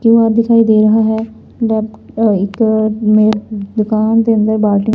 ਧੂਆਂ ਦਿਖਾਈ ਦੇ ਰਹਾ ਹੈ ਦੁਕਾਨ ਦੇ ਅੰਦਰ ਬਾਲਟੀਆ--